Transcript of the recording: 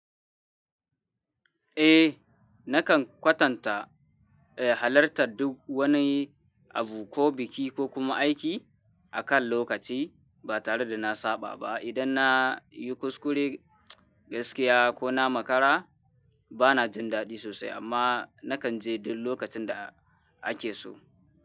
Eh, nakan kwatanta, eh, halarta duk wani abu ko biki ko kuma aiki akan lokaci ba tare da na saba ba. Idan na yi kuskure gaskiya ko na makara, ba na jin daɗi sosai amma nakan je duk lokacin da ake so.